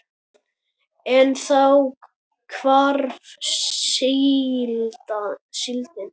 En þá hvarf síldin.